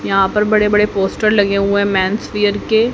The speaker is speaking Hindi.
यहां पर बड़े बड़े पोस्टर लगे हुए हैं मेन्सवेयर के।